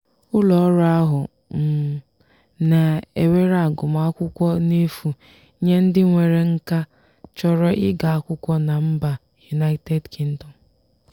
ụlọọrụ ahụ um na-ewere agụmakwụkwọ n'efu nye ndị nwere nkà chọrọ ịga akwụkwọ na mba united kingdom.